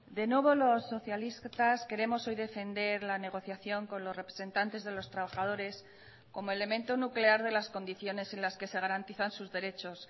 de nuevo los socialistas queremos hoy defender la negociación con los representantes de los trabajadores como elemento nuclear de las condiciones en las que se garantizan sus derechos